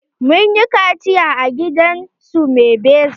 Mun yi kaciya a gidansu maibeza.